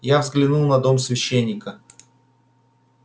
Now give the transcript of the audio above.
я взглянул на дом священника